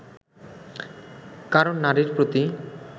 কারণ নারীর প্রতি